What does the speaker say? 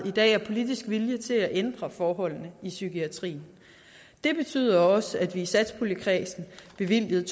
i dag er politisk vilje til at ændre forholdene i psykiatrien det betyder også at vi i satspuljekredsen bevilgede